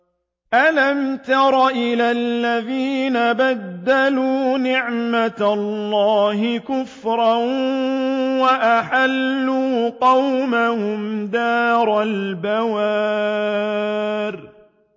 ۞ أَلَمْ تَرَ إِلَى الَّذِينَ بَدَّلُوا نِعْمَتَ اللَّهِ كُفْرًا وَأَحَلُّوا قَوْمَهُمْ دَارَ الْبَوَارِ